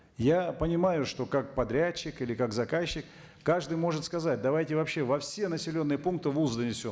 я понимаю что как подрядчик или как заказчик каждый может сказать давайте вообще во все населенные пункты волс занесем